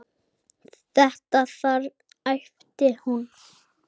Þetta þarna, æpti hún.